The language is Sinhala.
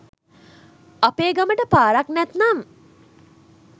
අපේ ගමට පාරක් නැත්නම්